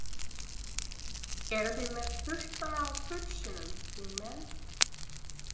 Eru þið með puttann á púlsinum, þingmenn?